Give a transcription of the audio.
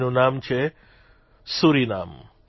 જેનું નામ છે સુરિનામ